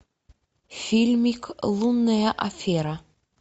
фильмик лунная афера